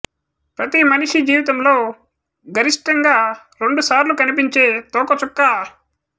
ప్రతి మనిషి జీవితంలో గరిష్ఠంగా రెండు సార్లు కనిపించే తోకచుక్క